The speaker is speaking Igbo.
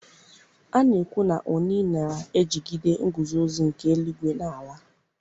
A na-ekwu na Oni na-ejigide nguzozi nke eluigwe na ala.